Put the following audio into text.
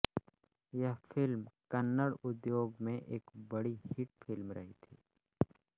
यह फिल्म कन्नड़ उद्योग में एक बड़ी हिट फिल्म रही थी